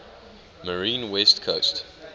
marine west coast